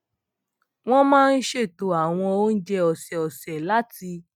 wọn máa ń ṣètò àwọn oúnjẹ ọsẹọsẹ láti